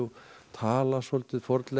tala svolítið